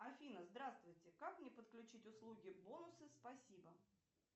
афина здравствуйте как мне подключить услуги бонусы спасибо